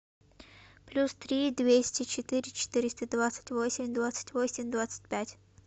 плюс три двести четыре четыреста двадцать восемь двадцать восемь двадцать пять